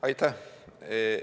Aitäh!